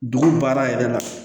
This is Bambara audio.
Dugu baara yɛrɛ la